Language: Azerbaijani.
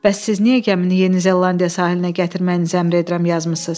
Bəs siz niyə gəmini Yeni Zelandiya sahilinə gətirməyinizi əmr edirəm yazmısınız?